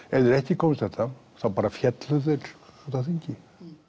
ef þeir ekki komust þetta þá bara féllu þeir út af þingi